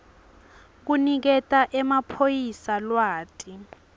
kuniketa emaphoyisa lwati